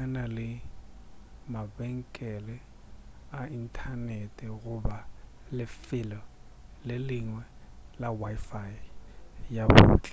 a na le mabenkele a inthanete goba lefelo le lengwe la wifi ya bohle